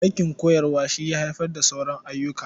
Aikin koyarwa shi ya haifar da sauran ayyuka.